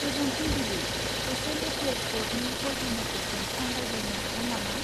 गोजोन फुंबिलि, hostel affairs ब'र्डनि क'अर्डिनेटरजों आं रायज्लायनो हागोन नामा?